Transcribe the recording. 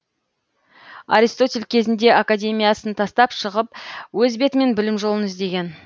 аристотель кезінде академиясын тастап шығып өз бетімен білім жолын іздеген